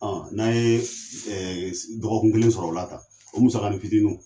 Ɔ n'an ye ɛ se dɔgɔkun kelen sɔrɔ ola tan o musakani fitiniw